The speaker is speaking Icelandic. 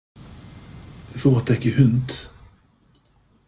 Þú átt ekki hund?